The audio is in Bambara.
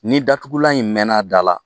Ni datugulan in mɛɛnna a da la